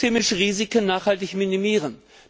Wir wollen systemische Risiken nachhaltig minimieren.